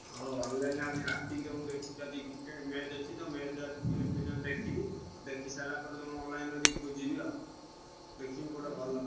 ହଉ online ଆଜି ରାତିକି ତମୁକୁ ଦେଖିକି ଆଜି Cricket match ଅଛି ତ match ଆଜି ଦେଖିବି। ଦେଖିସାଇଲା ପରେ ତମ online ରୁ ଟିକେ ଖୋଜିବି ଆଉ। ଦେଖିବି କୋଉଟା ଭଲ।